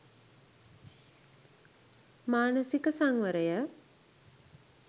මානසික සංවරය,